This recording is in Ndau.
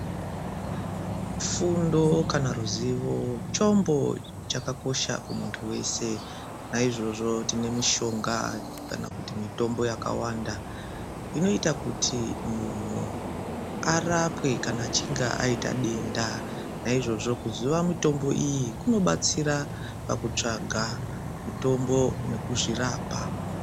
Fundo kana ruzivo chombo chakakosha kumuntu wese. Naizvozvo tine mishonga kana kuti mitombo yakawanda, inoita kuti munhu arapwe kana achinge aita denda. Naizvozvo kuziva mitombo iyi kunobatsira pakutsvaka mitombo nekuzvirapa.